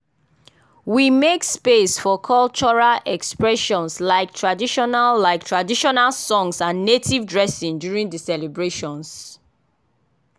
we make space for cultural expressions like traditional like traditional songs and native dressing during the celebrations.